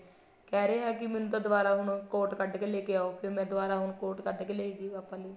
ਕਿਹਾ ਰਹੇ ਹੈ ਮੈਨੂੰ ਤਾਂ ਦੁਬਾਰਾ ਹੁਣ coat ਕੱਢ ਕੇ ਲੈਕੇ ਆਓ ਫ਼ੇਰ ਮੈਂ ਦੁਬਾਰਾ ਹੁਣ coat ਕੱਢ ਕੇ ਲੈਕੇ ਗਈ ਪਾਪਾ ਲਈ